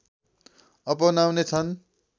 अपनाउने छन्